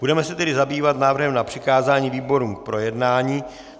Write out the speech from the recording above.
Budeme se tedy zabývat návrhem na přikázání výborům k projednání.